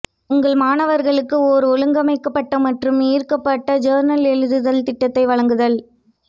உங்கள் மாணவர்களுக்கு ஓர் ஒழுங்கமைக்கப்பட்ட மற்றும் ஈர்க்கப்பட்ட ஜர்னல் எழுதுதல் திட்டத்தை வழங்குதல்